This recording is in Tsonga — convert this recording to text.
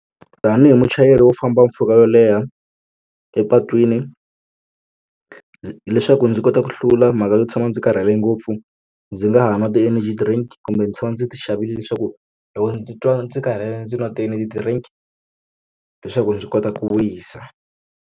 Tanihi muchayeri wo famba mpfhuka yo leha epatwini leswaku ndzi kota ku hlula mhaka yo tshama ndzi karhele ngopfu ndzi nga ha nwa ti-energy drink kumbe ndzi tshama ndzi ti xavile leswaku loko ndzi twa ndzi karhele ndzi nwa ti-energy drink leswaku ndzi kota ku wisa.